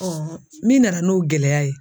min nana n'o gɛlɛya ye.